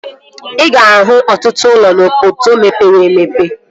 Ị ga-ahụ ọtụtụ ụlọ n'obodo mepere emepe